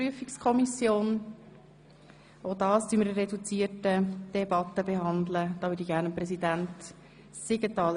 Auch dieses Geschäft behandeln wir in reduzierter Debatte.